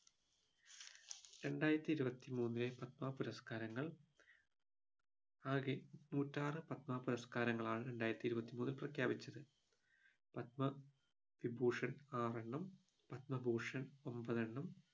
രണ്ടായിരത്തി ഇരുപത്തി മൂന്നിലെ പത്മ പുരസ്‌കാരങ്ങൾ ആകെ നൂറ്റാറു പത്മ പുരസ്‌കാരങ്ങളാണ് രണ്ടായിരത്തി ഇരുപത്തി മൂന്നിൽ പ്രഖ്യാപിച്ചത് പത്മവിഭൂഷൺ ആറെണ്ണം പത്മഭൂഷൺ ഒമ്പതെണ്ണം